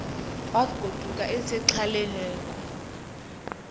wagoduka esexhaleni lerneko